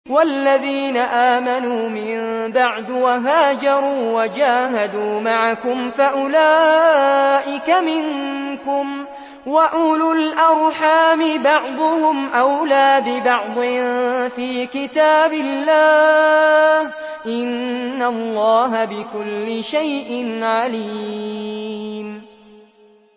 وَالَّذِينَ آمَنُوا مِن بَعْدُ وَهَاجَرُوا وَجَاهَدُوا مَعَكُمْ فَأُولَٰئِكَ مِنكُمْ ۚ وَأُولُو الْأَرْحَامِ بَعْضُهُمْ أَوْلَىٰ بِبَعْضٍ فِي كِتَابِ اللَّهِ ۗ إِنَّ اللَّهَ بِكُلِّ شَيْءٍ عَلِيمٌ